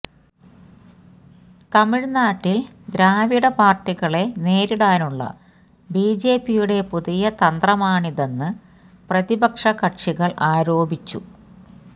തമിഴ്നാട്ടിൽ ദ്രാവിഡ പാർട്ടികളെ നേരിടാനുള്ള ബിജെപിയുടെ പുതിയ തന്ത്രമാണിതെന്ന് പ്രതിപക്ഷകക്ഷികള് ആരോപിച്ചു